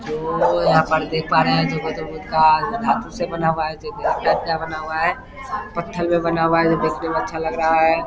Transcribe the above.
जो यहाँ पर देख पा रहे हैं गौतम बुद्ध का धातु से बना हुआ पत्थल में बना हुआ है जो देखने अच्छा लगा रहा है ।